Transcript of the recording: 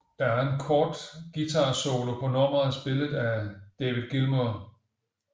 Der er en kort guitarsolo på nummeret spillet af David Gilmour